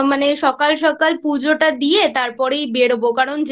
মানে সকাল সকাল পুজোটা দিয়ে তারপরেই বেরোব কারণ যেতেও